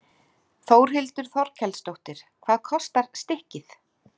Þórhildur Þorkelsdóttir: Hvað kostar stykkið?